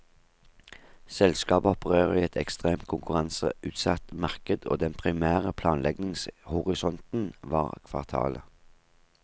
Selskapet opererer i et ekstremt konkurranseutsatt marked, og den primære planleggingshorisonten var kvartalet.